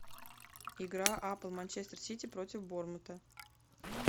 игра апл манчестер сити против борнмута